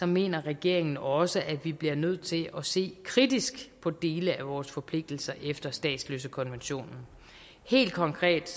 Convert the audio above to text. mener regeringen også at vi bliver nødt til at se kritisk på dele af vores forpligtelser efter statsløsekonventionen helt konkret